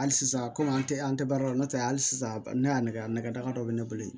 Hali sisan kɔmi an tɛ an tɛ baara la n'o tɛ hali sisan ne y'a nɛgɛ nɛgɛ daga dɔ bɛ ne bolo yen